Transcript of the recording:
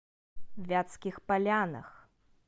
вятских полянах